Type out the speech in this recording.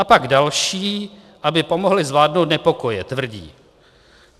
A pak další, aby pomohli zvládnout nepokoje, tvrdí.